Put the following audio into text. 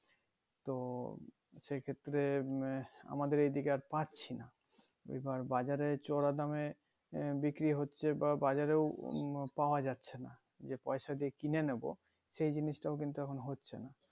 তো সেই ক্ষেত্রে আমাদের এদিকে আর পাচ্ছিনা আবার বাজারে চড়া দামে বিক্রি হচ্ছে বা বাজার এ ও উম আহ পাওয়া যাচ্ছেনা যে পয়সা দিয়ে কিনে নিবো সেই জিনিসটাও কিন্তু এখন হচ্ছেনা